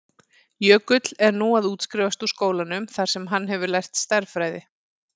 Jökull er nú að útskrifast úr skólanum þar sem hann hefur lært stærðfræði.